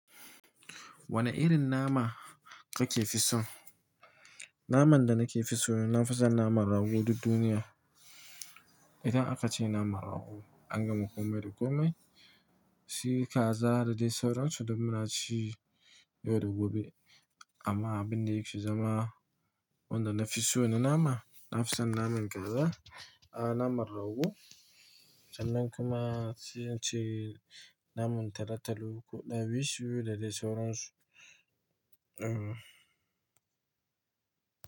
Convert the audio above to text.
Wane irin nama kake fi so? Naman da nake fi so, na fi son naman rago duk duniya. Idan aka ce naman rago, an gama komai da komai. Shi kaza da dai sauransu duk muna ci, yau da gobe. Amma abin da yake zama wanda na fi so na nama, na fi son naman kaza, ah naman rago, sannan kuma sai ince naman talotalo, ko ɗawisu da dai sauransu.